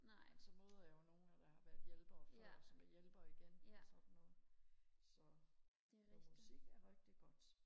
men så møder jeg jo nogen der har været hjælper før og som er hjælper igen og sådan noget så men musik er rigtig godt